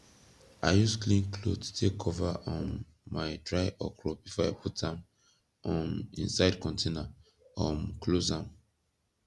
i use clean cloth take cover um my dry okro before i put am um inside container um close am